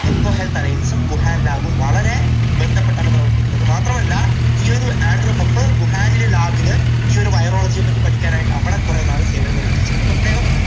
eco health alliance ും Wuhan lab ഉം വളരെ ബന്ധപ്പെട്ടാണ് പ്രവർത്തിക്കുന്നത്. അതു മാത്രമല്ല ഈയൊരു ആൻഡ്രൂ ഹഫ് വുഹാനിലെ lab ൽ ഈയൊരു virology യെ പറ്റി പഠിക്കാൻ ആയിട്ട് അവിടെ കുറെ നാൾ സേവനമനുഷ്ഠിച്ചിട്ടുണ്ട്. പ്രത്യേകം